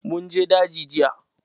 Mun je daji jiya.